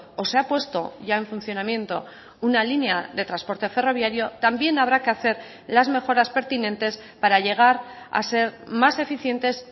o se ha puesto ya en funcionamiento una línea de transporte ferroviario también habrá que hacer las mejoras pertinentes para llegar a ser más eficientes